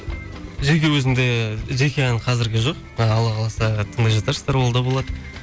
жеке өзімде жеке ән қазірге жоқ алла қаласа тыңдай жатарсыздар ол да болады